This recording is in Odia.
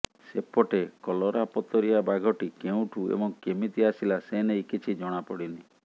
ସେପଟେ କଲରାପତରିଆ ବାଘଟି କେଉଁଠୁ ଏବଂ କେମିତି ଆସିଲା ସେ ନେଇ କିଛି ଜଣାପଡିନି